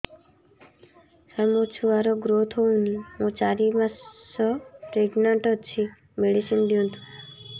ସାର ମୋର ଛୁଆ ର ଗ୍ରୋଥ ହଉନି ମୁ ଚାରି ମାସ ପ୍ରେଗନାଂଟ ଅଛି ମେଡିସିନ ଦିଅନ୍ତୁ